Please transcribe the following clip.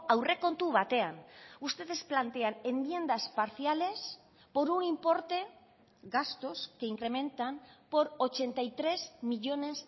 aurrekontu batean ustedes plantean enmiendas parciales por un importe gastos que incrementan por ochenta y tres millónes